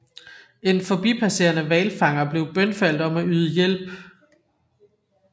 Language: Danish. En forbipasserende hvalfanger blev bønfaldt om at yde hjælp